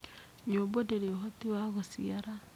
Nyũmbũ ndĩrĩ ũhoti wa gũciara